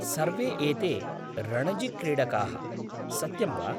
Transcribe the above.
सर्वे एते रणजिक्रीडकाः, सत्यं वा?